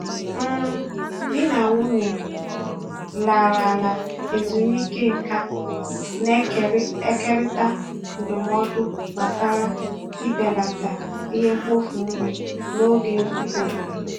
um Di na nwunye larala ezumike nka na-ekerịta ndụmọdụ gbasara ibelata ihe mkpofu nri n'oge nzukọ obodo.